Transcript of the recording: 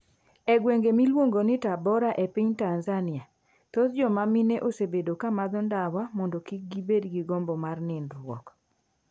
E gweng ' miluongo ni Tabora e piny Tanzania, thoth joma mine osebedo ka madho ndawa mondo kik gibed gi gombo mar nindruok.